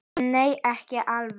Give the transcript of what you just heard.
En nei, ekki alveg.